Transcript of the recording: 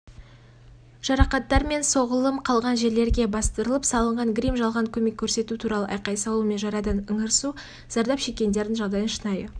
жарақаттар мен соғылым қалған жерлерге бастырылып салынған грим жалған көмек көрсету туралы айқай салу мен жарадан ыңырсу зардап шеккендердің жағдайын шынайы